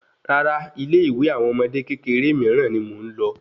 Rárá ilé ìwé àwọn ọmọdé kékeré miiran ni mo n lọ